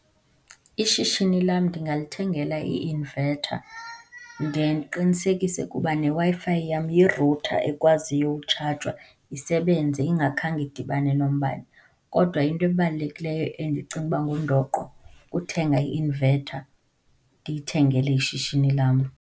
Ishishini lam ndingalithengela i-inverter, ndiye ndiqinisekise ukuba neWi-Fi yam yi-router ekwaziyo ukutshajwa isebenze ingakhange idibane nombane. Kodwa into ebalulekileyo endicinga ukuba ngundoqo, kuthenga i-inverter, ndiyithengele ishishini lam.